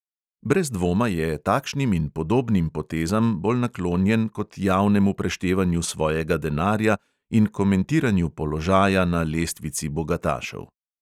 Brez dvoma je takšnim in podobnim potezam bolj naklonjen kot javnemu preštevanju svojega denarja in komentiranju položaja na lestvici bogatašev.